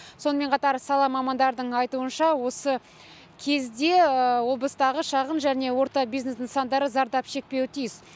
сонымен қатар сала мамандардың айтуынша осы кезде облыстағы шағын және орта бизнес нысандары зардап шекпеуі тиіс